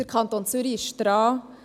Der Kanton Zürich ist daran.